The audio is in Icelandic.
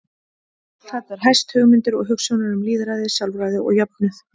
Þar ber hæst hugmyndir og hugsjónir um lýðræði, sjálfræði og jöfnuð.